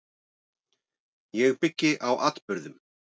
Ég byggi á atburðum.